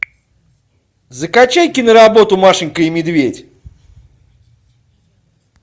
закачай киноработу машенька и медведь